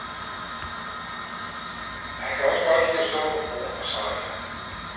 Han kan også godt lide at stå på broen og sejle.